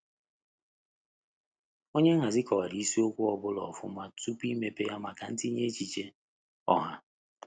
Onye nhazi kọwara isiokwu ọ bụla ọfuma tupu imepe ya maka ntinye echiche ọha.